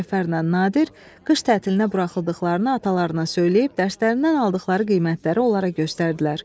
Cəfərlə Nadir qış tətilinə buraxıldıqlarını atalarına söyləyib dərslərindən aldıqları qiymətləri onlara göstərdilər.